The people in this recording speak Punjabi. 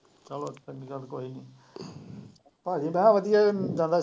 ਚਲੋ ਚੰਗੀ ਗੱਲ ਕੋਈ ਨੀ ਭਾਜੀ ਮੈਂ ਕਿਹਾ ਵਧੀਆ ਜ਼ਿਆਦਾ